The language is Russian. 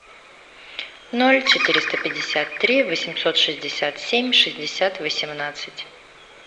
ноль четыреста пятьдесят три восемьсот шестьдесят семь шестьдесят восемнадцать